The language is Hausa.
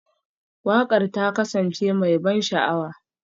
Waƙar ta kasance mai ban sha'awa?